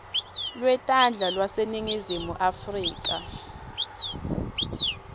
lwetandla lwaseningizimu afrika